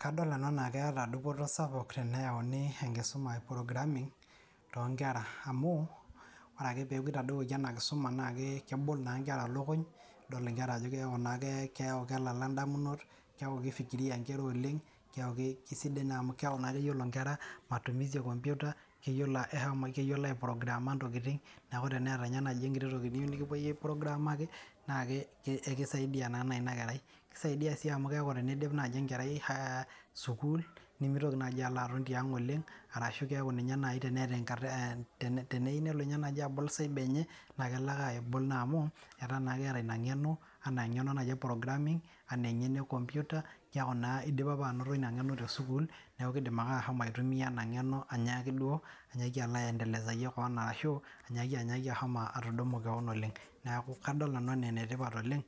Kadol nanu enaa keeta dupoto sapuk teneyauni enkisuma e programming toonkera amuu ore ake duo eweji anaa nkisuma anaake kebol naa nkera lokuny, nidol nkera ajo keaku naa kelala indamunot, keaku keifikiria ninche oleng, keaku kesidai amu keaku naa keyolo nkera matumisi ekompyuta, neyiolo eshomo keyilolo aiprograama ntokitin, neaku teneeta ninye naaji enkiti tokitin nikipoi aiprograamaki, naa ekisaidia naa inakerai, keisaidiasii amu keaku teneidip naaji enkerai sukuul nemeitoki naaji alo aton te ang' oleng arashu kesaku ninye nai teneeta, teneyeu ninye nelo abol cyber enye naa kelo ake abol amu etaa naa keeta ina ing'eno naji programming anaa ninye ne computer, keaku naa eidipa apa anoto ina ing'eno te sukuul, naaku keidim ake ashomo aitumia ina ng'eno ainyaaki duo alo aendelesaiye keon ashu anyaaki ashomo atudum koon oleng. aNaaku kadol nanu anaa ene tipat oleng